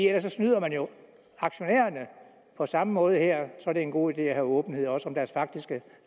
ellers snyder man jo aktionærerne på samme måde er det en god idé at have åbenhed også om deres faktiske